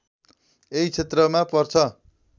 यही क्षेत्रमा पर्छ